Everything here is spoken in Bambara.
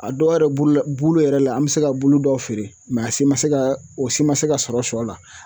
A dɔw yɛrɛ bolola bulu yɛrɛ la an be se ka bulu dɔw feere mɛ a si ma se ka o si ma se ka sɔrɔ sɔ la